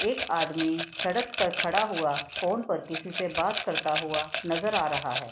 एक आदमी सड़क पर खड़ा हुआ फोन पर किसी से बात करता हुआ नजर आ रहा है ।